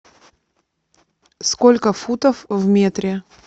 сколько футов в метре